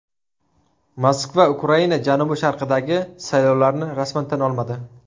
Moskva Ukraina janubi-sharqidagi saylovlarni rasman tan olmadi.